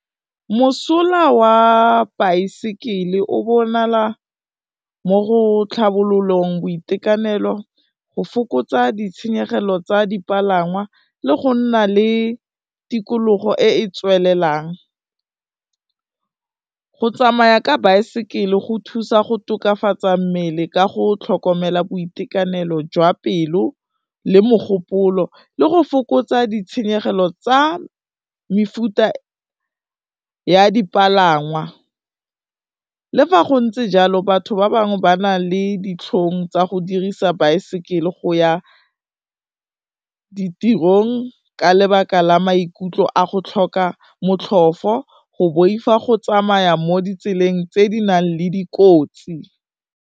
Mosola wa baesekele o bonala mo go tlhabololong boitekanelo, go fokotsa ditshenyegelo tsa dipalangwa le gonna le tikologo e e tswelelang. Go tsamaya ka baesekele go thusa go tokafatsa mmele ka go tlhokomela boitekanelo jwa pelo le mogopolo, le go fokotsa ditshenyegelo tsa mefuta ya dipalangwa, le fa go ntse jalo batho ba bangwe ba na le ditlhong tsa go dirisa baesekele go ya ditirong, ka lebaka la maikutlo a go tlhoka motlhofo, go boifa, go tsamaya mo ditseleng tse di nang le dikotsi.